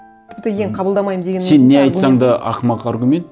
тіпті ең қабылдамаймын дегеннің өзінде сен не айтсаң да ақымақ аргумент